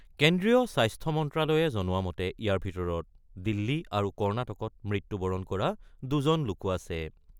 কেন্দ্ৰীয় স্বাস্থ্য মন্ত্ৰালয়ে জনোৱা মতে ইয়াৰ ভিতৰত দিল্লী আৰু কৰ্ণাটকত মৃত্যুবৰণ কৰা দুজন লোকো আছে।